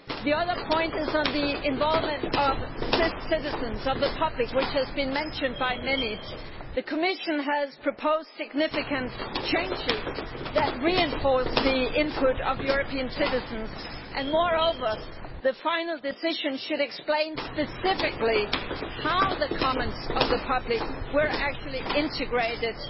The second point is on the involvement of citizens of the public which has been mentioned by many. The Commission has proposed significant changes that reinforce the input of European citizens, and the final decision should explain specifically how the comments of the public were actually integrated